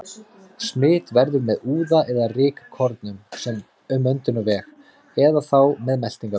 Smit verður með úða eða rykkornum um öndunarveg eða þá um meltingarveg.